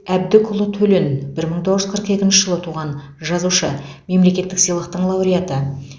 әбдікұлы төлен бір мың тоғыз жүз қырық екінші жылы туған жазушы мемлекеттік сыйлықтың лауреаты